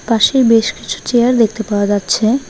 পাশেই বেশ কিছু চেয়ার দেখতে পাওয়া যাচ্ছে।